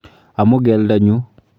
Amo keldonyu.